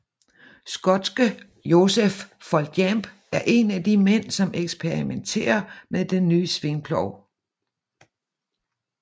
Skotske Joseph Foljambe er en af de mænd som eksperimentere med den nye svingplov